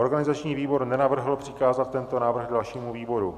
Organizační výbor nenavrhl přikázat tento návrh dalšímu výboru.